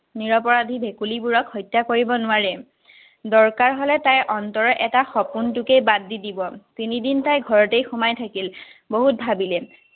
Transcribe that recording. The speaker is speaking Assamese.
নিৰপৰাধী ভেকুলীবোৰক হত্যা কৰিব নোৱাৰে। দৰকাৰ হলে তাইৰ অন্তৰৰ এটা সপোনকেই বাদ দি দিব। তিনিদিন তাই ঘৰতেই সোমাই থাকিল। বহুত ভাৱিলে।